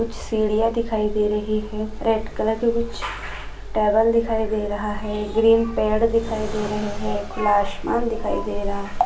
कुछ सिडिया दिखाई दे रही है रेड कलर की कुछ टेबल दिखाई दे रहा है ग्रीन पेड़ दिखाई दे रहे है खुला आसमान दिखाई दे रहा --